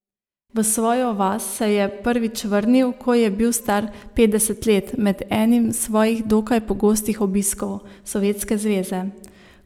V svojo vas se je prvič vrnil, ko je bil star petdeset let, med enim svojih dokaj pogostih obiskov Sovjetske zveze.